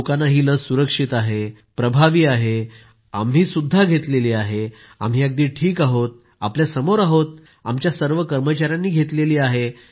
लोकांना ही लस सुरक्षित आहे प्रभावी आहे आम्ही ही घेतली आहे आम्ही अगदी ठीक आहोत आपल्या समोर आहोत आमच्या सर्व कर्मचाऱ्यांनी घेतली आहे